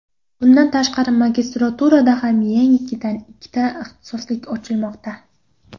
Bundan tashqari, magistraturada ham yangidan ikkita ixtisoslik ochilmoqda.